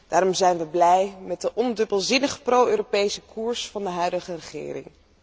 Daarom zijn we blij met de ondubbelzinnig pro Europese koers van de huidige regering.